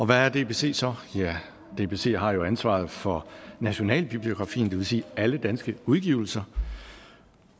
hvad er dbc så ja dbc har jo ansvaret for nationalbibliografien det vil sige alle danske udgivelser